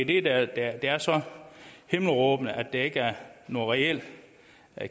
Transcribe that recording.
det der er så himmelråbende er at der ikke er nogen reel